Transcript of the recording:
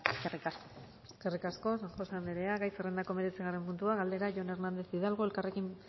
eskerrik asko eskerrik asko san josé anderea gai zerrendako hemeretzigarren puntua galdera jon hernández hidalgo elkarrekin